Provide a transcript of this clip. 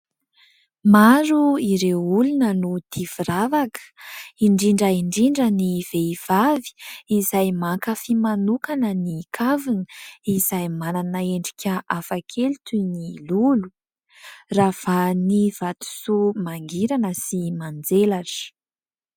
Maro ireo olona no tia firavaka, indrindra indrindra ny vehivavy izay mankafy manokana ny kavina, izay manana endrika hafakely toy ny: lolo; ravahan'ny vatosoa mangirana sy manjelatra.